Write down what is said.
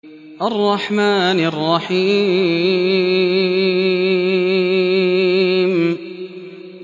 الرَّحْمَٰنِ الرَّحِيمِ